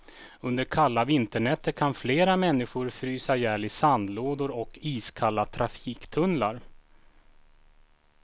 Under kalla vinternätter kan flera människor frysa ihjäl i sandlådor och iskalla trafiktunnlar.